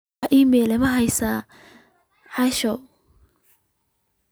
wax iimayl ah ma ka haystaa asha